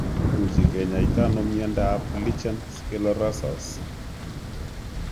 Kimuchi kenyaita ano miando ap lichen sclerosus?